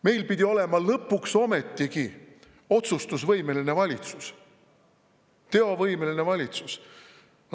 Meil pidi olema lõpuks ometigi otsustusvõimeline valitsus, teovõimeline valitsus.